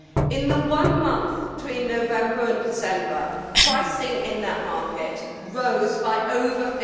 In the one month between November and December, pricing in that market rose by over